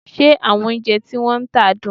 Ṣé àwọn oúnjẹ tí wọ́n ń tà dùn?